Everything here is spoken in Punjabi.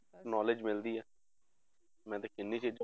Knowledge ਮਿਲਦੀ ਹੈ ਮੈਂ ਤੇ ਕਿੰਨੀ ਚੀਜ਼ਾਂ